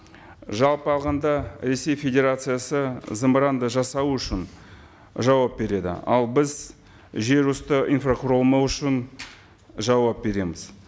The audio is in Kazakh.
жалпы алғанда ресей федерациясы зымыранды жасау үшін жауап береді ал біз жер үсті инфрақұрылымы үшін жауап береміз